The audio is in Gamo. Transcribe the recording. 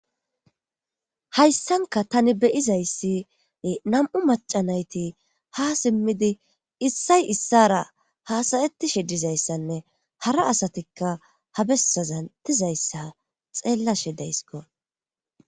Hayssanka tani beyizayssi nam7u macanayti ha simmidi issay issara haasayettishe dizayssanne hara asatikka ha bessazantizayssa xeellashe deysko